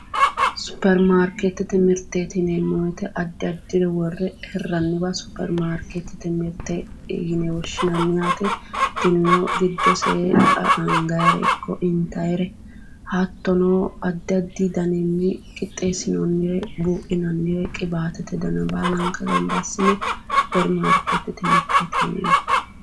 Supirimaariketete mirteti yinneemmo woyte addi addiwa worre hiraniwa supirimaariketete mirte yinne woshshinanni yaate, tinino giddose anganire ikko intanire hattono addi addi danni qixxeesinonire buudhinannire qiwattate danna baalanka gamba assine supirimaariketete mirteti yinneemmo.